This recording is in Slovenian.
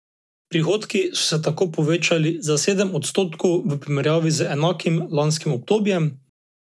Prihodki so se tako povečali za sedem odstotkov v primerjavi z enakim lanskim obdobjem.